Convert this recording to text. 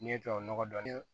N'i ye tubabu nɔgɔ dɔɔnin